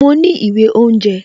Mo ní ìwé oúnjẹ